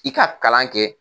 I ka kalan kɛ